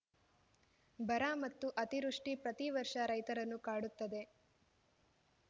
ಬರ ಮತ್ತು ಅತಿವೃಷ್ಟಿ ಪ್ರತಿ ವರ್ಷ ರೈತರನ್ನು ಕಾಡುತ್ತದೆ